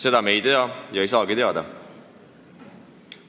Seda me ei tea ega saagi teada.